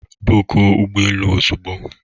bookuọ ụgbọ elu ozugbo!